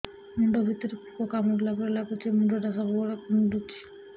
ମୁଣ୍ଡ ଭିତରେ ପୁକ କାମୁଡ଼ିଲା ପରି ଲାଗୁଛି ମୁଣ୍ଡ ଟା ସବୁବେଳେ କୁଣ୍ଡୁଚି